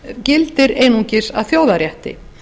gildir einungis að þjóðarrétti